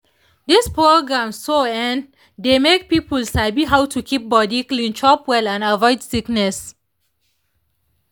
these programs so[um]dey make people sabi how to keep body clean chop well and avoid sickness